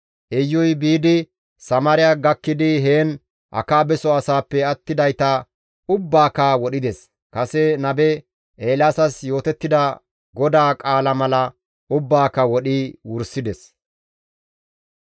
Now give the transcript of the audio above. Iyuy biidi Samaariya gakkidi heen Akaabeso asaappe attidayta ubbaaka wodhides; kase nabe Eelaasas yootettida GODAA qaala mala ubbaaka wodhi wursides.